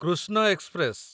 Krishna express